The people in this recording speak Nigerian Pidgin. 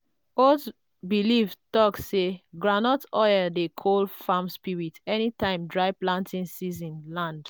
old belief talk say groundnut oil dey cool farm spirits anytime dry planting season land.